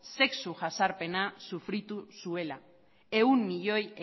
sexu jazarpena sufritu zuela ehun milioi